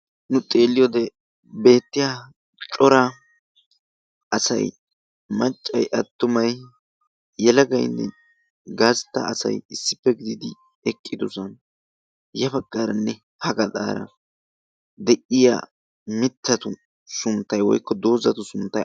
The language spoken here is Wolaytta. nu xeelliyoo beettiya cora asay maccay attumay yalagainne gaastta asay issippe gidiidi eqqidosana. yafaqqaaranne ha galdaara deyiya mittatu sunttai woykko doozatu sunttay aybee?